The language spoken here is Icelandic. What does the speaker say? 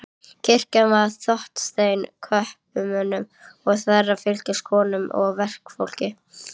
Kirkjan var þéttsetin kaupmönnum og þeirra fylgisveinum, konum og verkafólki.